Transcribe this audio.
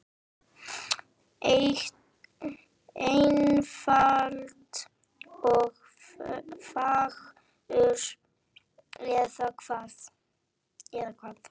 Einfalt og fagurt, eða hvað?